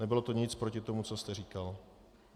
Nebylo to nic proti tomu, co jste říkal.